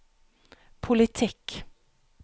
politikk